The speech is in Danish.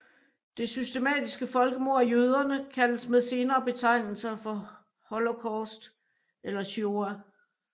Det systematiske folkemord af jøderne kaldes med senere betegnelser for Holocaust eller Shoah